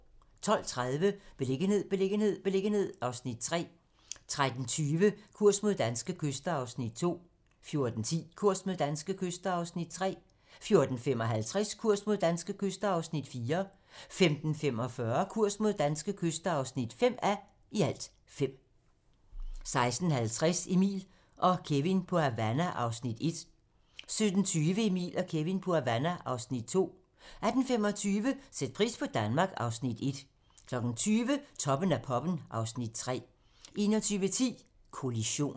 12:30: Beliggenhed, beliggenhed, beliggenhed (Afs. 3) 13:20: Kurs mod danske kyster (2:5) 14:10: Kurs mod danske kyster (3:5) 14:55: Kurs mod danske kyster (4:5) 15:45: Kurs mod danske kyster (5:5) 16:50: Emil & Kevin på Havana (Afs. 1) 17:20: Emil og Kevin på Havana (Afs. 2) 18:25: Sæt pris på Danmark (Afs. 1) 20:00: Toppen af poppen (Afs. 3) 21:10: Kollision